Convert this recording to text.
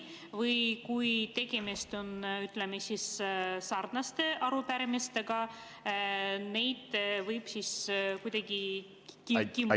Või kui tegemist on sarnaste arupärimistega, siis kas võib neid kuidagi kimpu siduda?